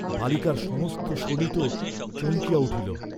বালিকার সমস্ত শোণিত চমকিয়া উঠিল।